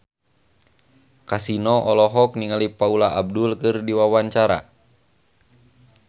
Kasino olohok ningali Paula Abdul keur diwawancara